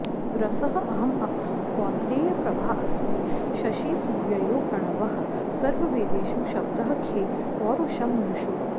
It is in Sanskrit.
रसः अहम् अप्सु कौन्तेय प्रभा अस्मि शशिसूर्ययोः प्रणवः सर्ववेदेषु शब्दः खे पौरुषं नृषु